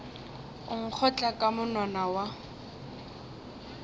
o nkgotla ka monwana wa